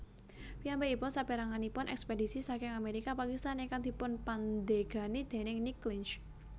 Piyambakipun saperanganipun ekspedisi saking Amerika Pakistan ingkang dipunpandegani déning Nick Clinch